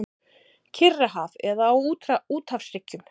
Kyrrahaf eða á úthafshryggjum.